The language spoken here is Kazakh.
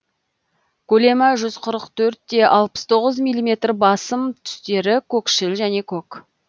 көлемі жүз қырық төрт те алпыс тоғыз миллиметр басым түстері көкшіл және көк